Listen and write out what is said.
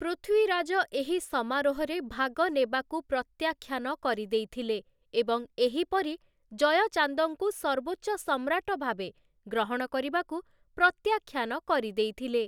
ପୃଥ୍ୱୀରାଜ ଏହି ସମାରୋହରେ ଭାଗ ନେବାକୁ ପ୍ରତ୍ୟାଖ୍ୟାନ କରିଦେଇଥିଲେ, ଏବଂ ଏହିପରି, ଜୟଚାନ୍ଦଙ୍କୁ ସର୍ବୋଚ୍ଚ ସମ୍ରାଟ ଭାବେ ଗ୍ରହଣ କରିବାକୁ ପ୍ରତ୍ୟାଖ୍ୟାନ କରିଦେଇଥିଲେ ।